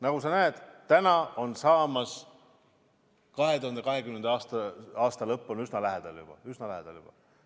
Nagu sa näed, nüüd hakkab 2020. aasta juba lõppema, oleme üsna lõpu lähedale jõudnud.